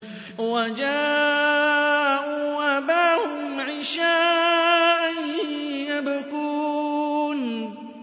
وَجَاءُوا أَبَاهُمْ عِشَاءً يَبْكُونَ